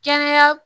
Kɛnɛya